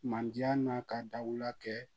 Manje n'a ka dawula kɛ